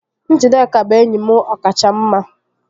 Njideka bụ enyi m ọkacha mma